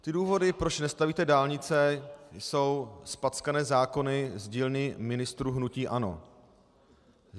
Ty důvody, proč nestavíte dálnice, jsou zpackané zákony z dílny ministrů hnutí ANO.